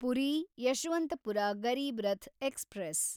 Puri Yeshwantpur Garib Rath express